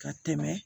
Ka tɛmɛ